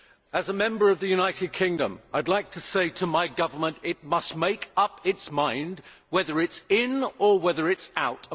As a Member from the United Kingdom, I would like to say to my government that it must make up its mind whether it is in or whether it is out.